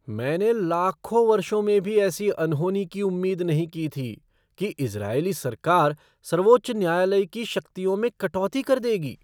मैंने लाखों वर्षों में भी ऐसी अनहोनी की उम्मीद नहीं की थी कि इज़रायली सरकार सर्वोच्च न्यायालय की शक्तियों में कटौती कर देगी।